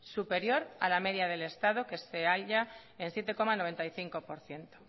superior a la media del estado que se halla en siete coma noventa y cinco por ciento